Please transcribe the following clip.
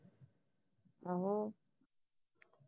ਆਹੋ